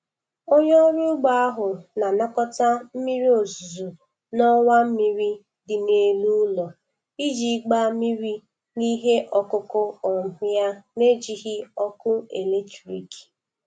Onye ọrụ ugbo ahụ na-anakọta mmiri ozuzo n'ọwa mmiri dị n'elu ụlọ iji gbaa mmiri n'ihe ọkụkụ um ya, n'ejighị ọkụ eletrik.